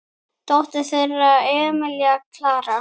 Dóttir þeirra er Emilía Klara.